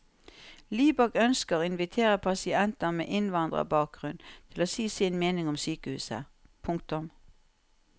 Libak ønsker å invitere pasienter med innvandrerbakgrunn til å si sin mening om sykehuset. punktum